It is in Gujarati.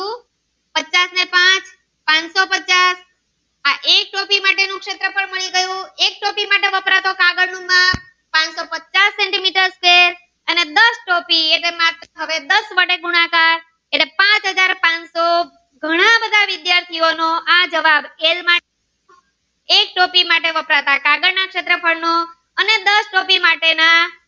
પચાસ ટોપી હવે દસ વડે ગુણાકાર એટલે પાંચ હાજર પાનસો ઘણા બધા વિદ્યાર્થી નો નો આ જવાબ એલ માં એક ટોપી માટે વપરાયેલ કાગળ નો શેત્રફ્ળ નો અને દસ ટોપી માટેના